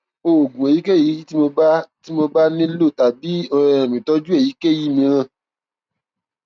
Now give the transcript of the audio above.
oògùn èyíkéyìí tí mo bá tí mo bá nílò tàbí um ìtọjú èyíkéyìí mìíràn